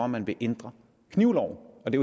man vil ændre knivloven og det